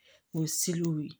O w ye